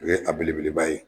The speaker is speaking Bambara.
O ye a belebeleba ye.